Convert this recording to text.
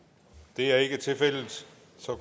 det er ikke tilfældet